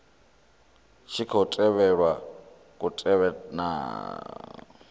tshi khou tevhelwa kutevhekanele uku